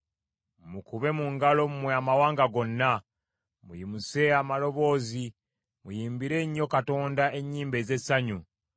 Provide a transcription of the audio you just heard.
Mukube mu ngalo mmwe amawanga gonna; muyimuse amaloboozi muyimbire nnyo Katonda ennyimba ez’essanyu;